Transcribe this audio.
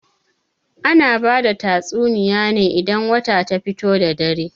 Ana bada tatsuniya ne idan wata ta fito da dare.